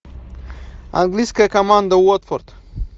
английская команда уотфорд